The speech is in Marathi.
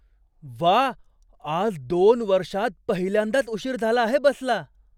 व्वा, आज दोन वर्षांत पहिल्यांदाच उशीर झाला आहे बसला.